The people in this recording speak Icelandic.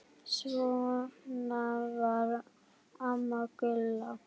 Svona var amma Gulla.